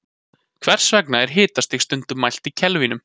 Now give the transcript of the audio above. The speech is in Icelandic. hvers vegna er hitastig stundum mælt í kelvínum